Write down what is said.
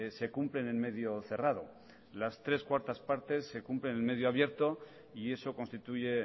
se cumplen en medio cerrado las tres cuartas partes se cumplen en medio abierto y eso constituye